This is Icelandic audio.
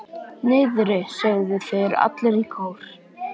Niðri, sögðu þeir allir í kór.